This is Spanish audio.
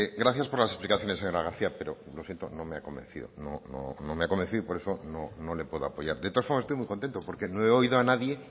gracias por las explicaciones señora garcía pero no me ha convencido y por eso no le puedo apoyar de todas formas estoy muy contento porque no he oído a nadie